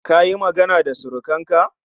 Kayi magana da surukanka?